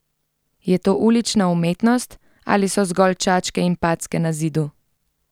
Je to ulična umetnost ali so zgolj čačke in packe na zidu?